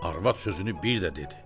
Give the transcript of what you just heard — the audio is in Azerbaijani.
Arvad sözünü bir də dedi.